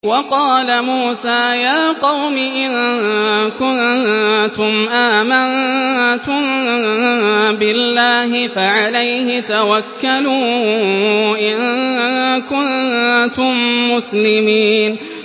وَقَالَ مُوسَىٰ يَا قَوْمِ إِن كُنتُمْ آمَنتُم بِاللَّهِ فَعَلَيْهِ تَوَكَّلُوا إِن كُنتُم مُّسْلِمِينَ